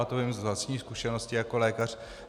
A to vím z vlastní zkušenosti jako lékař.